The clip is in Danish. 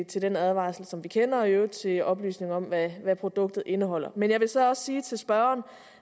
til den advarsel som vi kender og i øvrigt til oplysning om hvad hvad produktet indeholder men jeg vil så også sige til spørgeren